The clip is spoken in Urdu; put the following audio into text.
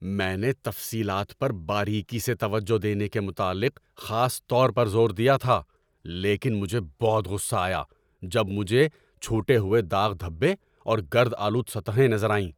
میں نے تفصیلات پر باریکی سے توجہ دینے کے متعلق خاص طور پر زور دیا تھا، لیکن مجھے بہت غصہ آیا جب مجھے چھوٹے ہوئے داغ دھبے اور گرد آلود سطحوں نظر آئیں۔